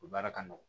U baara ka nɔgɔn